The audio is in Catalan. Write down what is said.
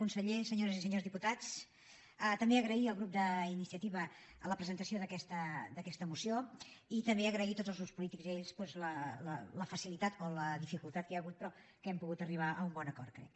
conseller senyores i senyors diputats també agrair al grup d’iniciativa la presentació d’aquesta moció i també agrair a tots els grups polítics doncs la facilitat o la dificultat que hi ha hagut però que hem pogut arribar a un bon acord crec